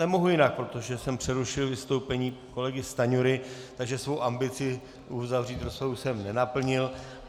Nemohu jinak, protože jsem přerušil vystoupení kolegy Stanjury, takže svou ambici uzavřít rozpravu jsem nenaplnil.